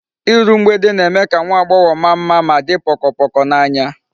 Iru mgbede na-eme ka nwa agbogho maa mma ma di pokopoko n'anya